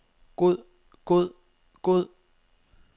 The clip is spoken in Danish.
god god god